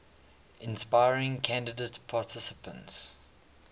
inspiring candidate participants